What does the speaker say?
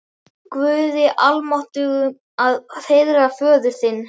Guði almáttugum að heiðra föður þinn?